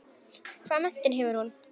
Hvaða menntun hefur hún?